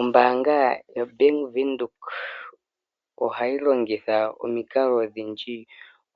Ombaanga yoBank Windhoek ohayi longitha omikalo odhindji